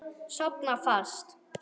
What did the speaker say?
Sofna fast.